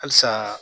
Halisa